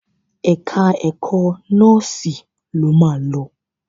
Ẹ̀ka ẹ̀kọ́ nọ́sìnnì lo máa lọ.